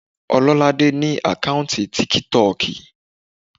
Ọlọ́ládé ní àkáùntì tíkítọ̀kì